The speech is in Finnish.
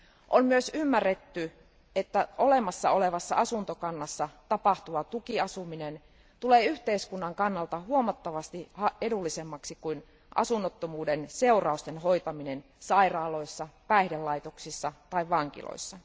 On myös ymmärretty, että olemassa olevassa asuntokannassa tapahtuva tukiasuminen tulee yhteiskunnan kannalta huomattavasti edullisemmaksi kuin asunnottomuuden seurausten hoitaminen sairaaloissa, päihdelaitoksissa tai vankiloissa.